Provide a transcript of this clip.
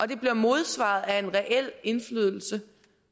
det bliver modsvaret af en reel indflydelse